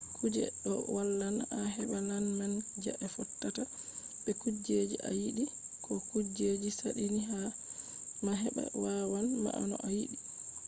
kuje ɗo wallan a heɓa laana manga je fottata be kujeji a yiɗi ko kujeji saɗini ma. heɓa wanna ma no a yiɗi